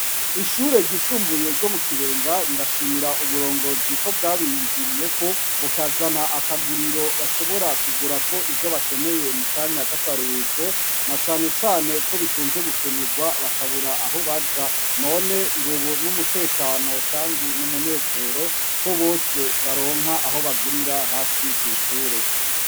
Ishure ryisumbuye ryo mu kibenga rirashimira uburongozi ko bwabiyumviriyeko bukazana akaguriro bashobora kugura ko ivyo bakeneye mu kanya k'akaruko na canecane ko bikunze gukenerwa bakabura aho baja none ngo, ubu n'umutekano, kandi n'umunezero ko bose baromwe nka aho bagurira hafi kw'ishure.